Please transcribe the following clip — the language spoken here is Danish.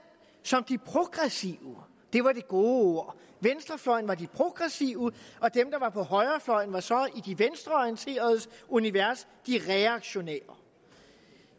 som de progressive det var det gode ord venstrefløjen var de progressive og dem der var på højrefløjen var så i de venstreorienteredes univers de reaktionære